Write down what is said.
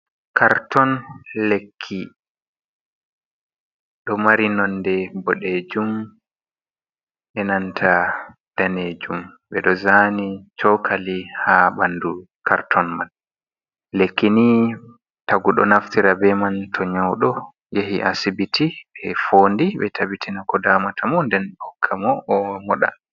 Karton lekki ɗo mari nonde bodejum enanta danejum ɓeɗo zani chokali ha ɓandu karton man lekki ni tagu ɗo naftira be man to nyaudo yahi asibiti ɓe fondi ɓe tabbitini ko damata mu nden ɓe hokka mo o moɗa.